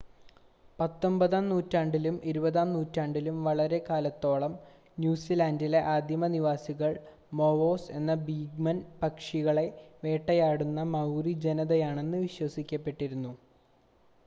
പത്തൊൻപതാം നൂറ്റാണ്ടിലും ഇരുപതാം നൂറ്റാണ്ടിലും വളരെക്കാലത്തോളം ന്യൂസിലാൻ്റിലെ ആദിമ നിവാസികൾ മോവാസ് എന്ന ഭീമൻ പക്ഷികളെ വേട്ടയാടുന്ന മൗറി ജനതയാണെന്ന് വിശ്വസിക്കപ്പെട്ടിരുന്നു